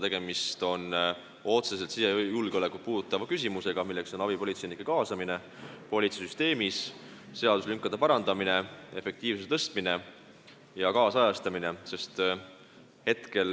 Tegemist on otseselt sisejulgeolekut puudutavate küsimustega: abipolitseinike kaasamine politseisüsteemi, seaduselünkade kaotamine, efektiivsuse suurendamine ja seaduse ajakohastamine.